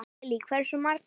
Lillý: Hversu margar?